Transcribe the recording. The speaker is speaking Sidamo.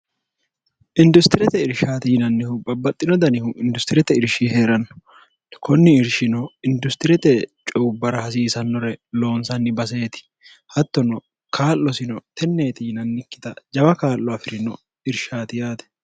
industirete irshaate yinannihu babbaxxino danihu industirete irshi hee'ranno konni irshino industirete cuyubbara hasiisannore loonsanni baseeti hattono kaa'losino tenneeti yinannikkita jawa kaa'lo afi'rino irshaati yaate